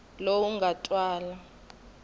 lowu nga twala a wu